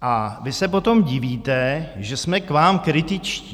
a vy se potom divíte, že jsme k vám kritičtí.